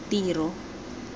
tiro